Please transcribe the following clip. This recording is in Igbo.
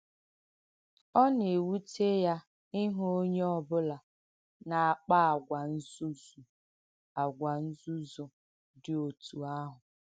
Ọ na-èwùtẹ ya ìhụ̀ onye ọ bụ̀là na-àkpa àgwà ǹzùzụ̀ àgwà ǹzùzụ̀ dì otu àhụ̀.